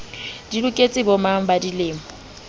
di loketse bomang ba dilemo